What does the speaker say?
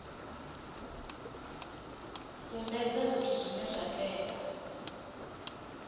sumbedza zwithu zwine zwa tea